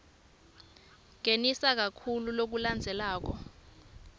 ngenisa loku lokulandzelako